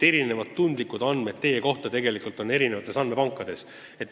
Nii et tundlikku infot teie kohta on mitmes andmepangas.